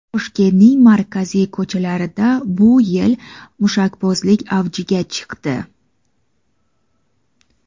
Toshkentning markaziy ko‘chalarida bu yil mushakbozlik avjiga chiqdi.